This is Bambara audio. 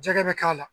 Jɛgɛ bɛ k'a la